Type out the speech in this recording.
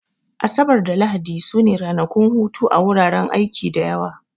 Asabar da Lahadi su ne ranakun hutu a wuraren aiki da yawa